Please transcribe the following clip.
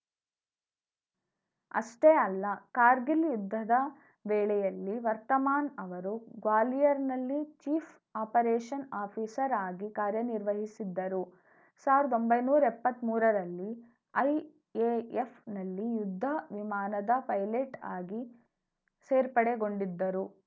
ಅಷ್ಟೇ ಅಲ್ಲ ಕಾರ್ಗಿಲ್‌ ಯುದ್ಧದ ವೇಳೆಯಲ್ಲಿ ವರ್ತಮಾನ್‌ ಅವರು ಗ್ವಾಲಿಯರ್‌ನಲ್ಲಿ ಚೀಫ್‌ ಆಪರೇಷನ್‌ ಆಫೀಸರ್‌ ಆಗಿ ಕಾರ್ಯನಿರ್ವಹಿಸಿದ್ದರು ಸಾವಿರ್ದ ಒಂಬೈನೂರ ಎಪ್ಪತ್ ಮೂರರಲ್ಲಿ ಐಎಎಫ್‌ನಲ್ಲಿ ಯುದ್ಧ ವಿಮಾನದ ಪೈಲಟ್‌ ಆಗಿ ಸೇರ್ಪಡೆಗೊಂಡಿದ್ದರು